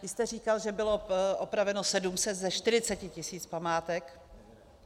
Vy jste říkal, že bylo opraveno 700 ze 40 tisíc památek.